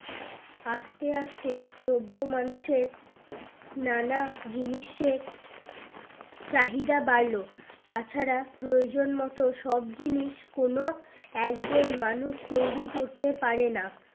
আস্তে আস্তে সভ্য মানুষের নানা জিনিসের চাহিদা বাড়লো তাছাড়া প্রয়োজন মতো সব জিনিস কোনো একজন মানুষ তৈরী করতে পারে না